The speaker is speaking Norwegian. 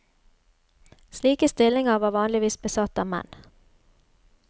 Slike stillinger var vanligvis besatt av menn.